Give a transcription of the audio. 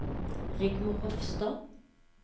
Rigmor Hofstad